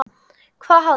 Hvað hafði